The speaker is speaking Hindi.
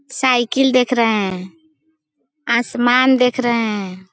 साइकिल देख रहें हैं आसमान देख रहें हैं।